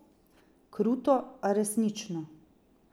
Kruto, a resnično.